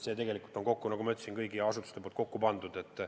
See kõik on, nagu ma ütlesin, mitme asutuse poolt kokku pandud.